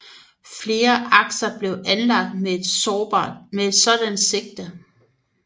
Flere akser blev anlagt med et sådant sigte